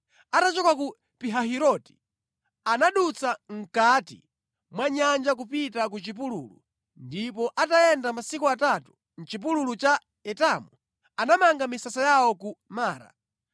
Atachoka ku Pihahiroti anadutsa mʼkati mwa nyanja kupita ku chipululu ndipo atayenda masiku atatu mʼchipululu cha Etamu, anamanga misasa yawo ku Mara.